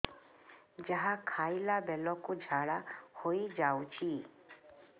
ଯାହା ଖାଇଲା ବେଳକୁ ଝାଡ଼ା ହୋଇ ଯାଉଛି